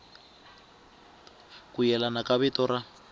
ku yelana ka vito ra